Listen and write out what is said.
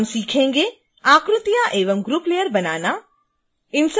हम सीखेंगे आकृतियाँ एवं ग्रुप लेयर बनाना